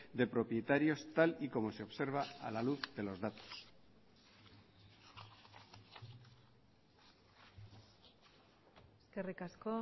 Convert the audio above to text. de propietarios tal y como se observa a la luz de los datos eskerrik asko